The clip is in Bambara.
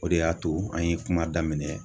O de y'a to an ye kuma daminɛ